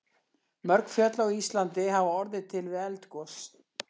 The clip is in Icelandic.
Mörg fjöll á Íslandi hafa orðið til við eldgos.